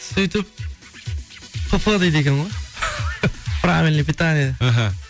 сөйтіп пп дейді екен ғой правельное питание іхі